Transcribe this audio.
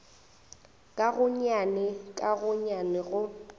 ka gonnyane ka gonnyane go